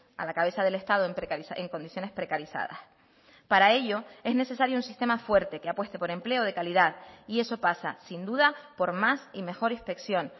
a la cabeza del estado en condiciones precarizadas para ello es necesario un sistema fuerte que apueste por empleo de calidad y eso pasa sin duda por más y mejor inspección